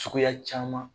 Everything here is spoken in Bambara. Suguya caman